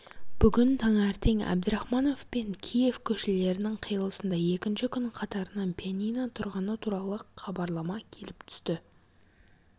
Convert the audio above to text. бүгін таңертең әбдірахманов пен киев көшелерінің қиылысында екінші күн қатарынан пианино тұрғаны туралы хабарлама келіп түсті